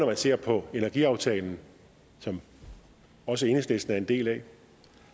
man ser på energiaftalen som også enhedslisten er en del af